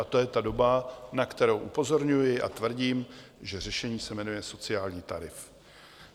A to je ta doba, na kterou upozorňuji, a tvrdím, že řešení se jmenuje sociální tarif.